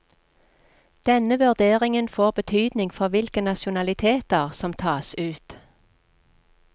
Denne vurderingen får betydning for hvilke nasjonaliteter som tas ut.